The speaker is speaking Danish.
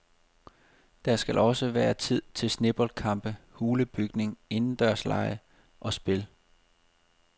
Der skal også være tid til sneboldkampe, hulebygning, indendørslege og spil.